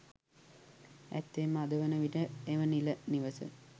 ඇත්තෙන්ම අද වන විට එම නිල නිවස